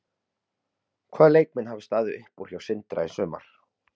Hvaða leikmenn hafa staðið upp úr hjá Sindra í sumar?